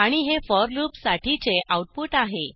आणि हे for loop साठीचे आऊटपुट आहे